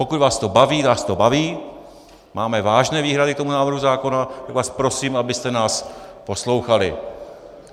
Pokud vás to baví, nás to baví, máme vážné výhrady k tomu návrhu zákona, tak vás prosím, abyste nás poslouchali.